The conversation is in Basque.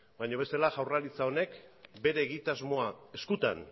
baina bestela jaurlaritza honek bere egitasmoa eskutan